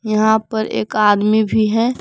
यहां पर एक आदमी भी है।